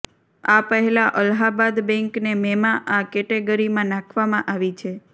આ પહેલા અલ્હાબાદ બેન્કને મેમાં આ કેટેગરીમાં નાખવામાં આવી છે